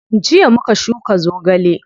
Jiya muka shuka zogale.